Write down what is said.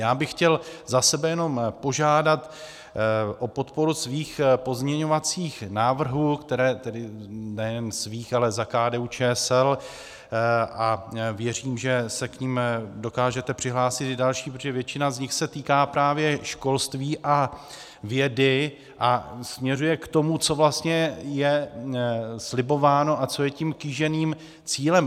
Já bych chtěl za sebe jenom požádat o podporu svých pozměňovacích návrhů, tedy nejen svých, ale za KDU-ČSL, a věřím, že se k nim dokážete přihlásit i další, protože většina z nich se týká právě školství a vědy a směřuje k tomu, co vlastně je slibováno a co je tím kýženým cílem.